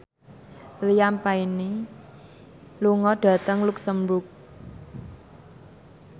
Liam Payne lunga dhateng luxemburg